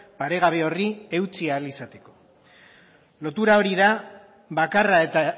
paregabe horri eutsi ahal izateko lotura hori da bakarra eta